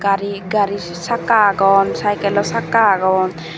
gari gari sakka agon cycle lo sakka agon.